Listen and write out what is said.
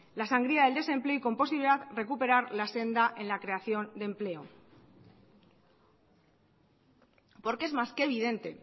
la sangría del desempleo y con posterioridad recuperar la senda en la creación de empleo porque es más que evidente